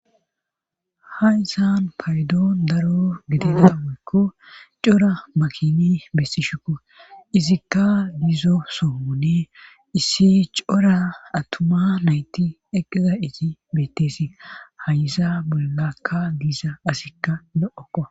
hayysan paydoon daro gidida woykko cora makini bessishekko izikka dizo sohone issi cora attuma nayti eqqiza izi beettesi hayiza bollakka diiza asikka lo7okoa